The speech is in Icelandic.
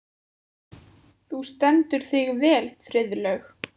Þú stendur þig vel, Friðlaug!